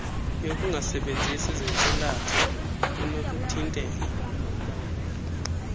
yokungasebenzisi zintsilathi kunokuthintela